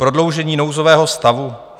Prodloužení nouzového stavu?